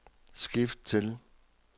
skift til